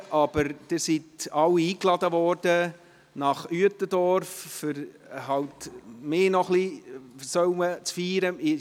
Sie sind aber alle nach Uetendorf eingeladen worden, da man mich noch etwas feiern soll.